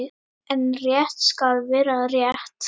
En rétt skal vera rétt.